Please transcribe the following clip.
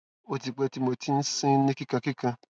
o ti pe ti mo ti mo ti n sin ni kikankikan